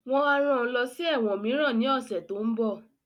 Wọ́n á rán ẹ lọ sí ẹ̀wọ̀n mìíràn ní ọ̀sẹ̀ tó ń bọ̀